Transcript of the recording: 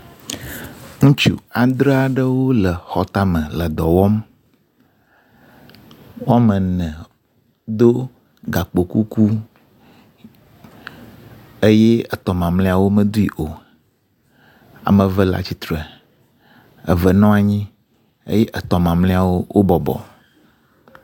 Ŋutsu afre aɖewo le xɔtame le dɔ wɔm. wɔme ene do gakpo kuku eye etɔ̃ mamleawo womedoe o. Ame eve le atistre, eve nɔ anyi eye etɔ̃ mamleawo wo bɔbɔ.